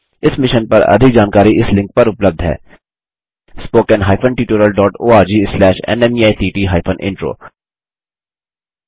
इस मिशन पर अधिक जानकारी spoken hyphen tutorial dot ORG slash NMEICT hyphen intro link पर उपलब्ध है